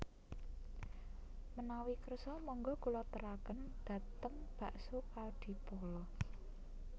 Menawi kersa monggo kula teraken dhateng Bakso Kadipolo